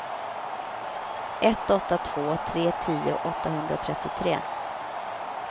ett åtta två tre tio åttahundratrettiotre